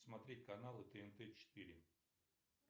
смотреть каналы тнт четыре